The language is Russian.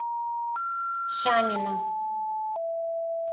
шамина